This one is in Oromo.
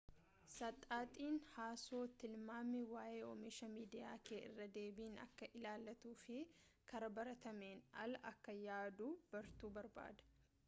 saxaxin haasoo tilmaami waayee oomisha miidiyaa kee irra deebiin akka ilaaltuu fi karaa baratameen ala akka yaaduu bartu barbaada